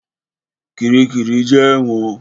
Kiríkirì jẹ́ ẹ̀wọ̀n.